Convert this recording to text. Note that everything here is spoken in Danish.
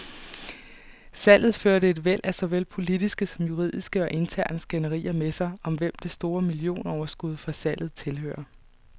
Salget førte et væld af såvel politiske som juridiske og interne skænderier med sig, om hvem det store millionoverskud fra salget tilhører.